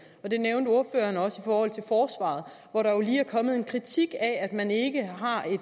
det nævnte ordføreren også i forhold til forsvaret hvor der jo lige er kommet en kritik af at man ikke har